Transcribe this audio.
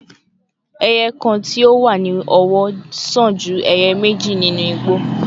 Eye kan ti o wa ni ọwọ jẹ iye meji ninu igbo